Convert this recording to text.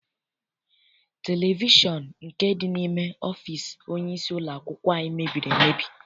Televishọn nke dị n'ime ọfịịsi onyeisi ụlọakwụkwọ anyị mebiri emebi.